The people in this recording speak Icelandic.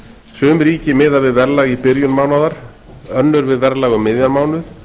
sum ríki miða við verðlag í byrjun mánaðar önnur við verðlag um miðjan mánuð